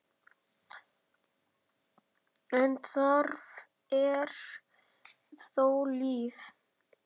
en þarna er þó líf.